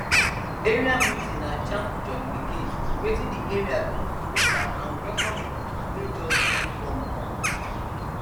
area meeting na chance to jollificate wetin di area don do beta and welcome new people wey just move come come